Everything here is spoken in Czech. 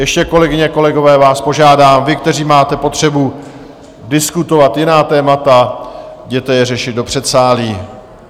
Ještě, kolegyně, kolegové, váš požádám, vy, kteří máte potřebu diskutovat jiná témata, jděte je řešit do předsálí.